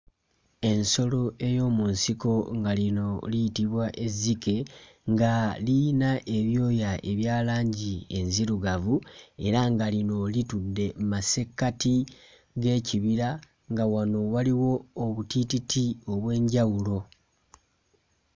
Ensolo ey'omu nsiko nga lino liyitibwa ezzike nga liyina ebyoya ebya langi enzirugavu era nga lino litudde mmasekkati g'ekibira nga wano waliwo obutiititi obw'enjawulo.